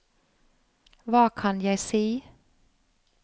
hva kan jeg si